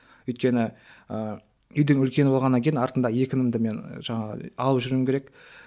өйткені ыыы үйдің үлкені болғаннан кейін артымда екі інімді мен жаңағы алып жүруім керек